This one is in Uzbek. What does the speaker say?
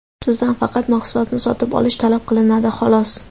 Sizdan faqat mahsulotni sotib olish talab qilinadi xolos.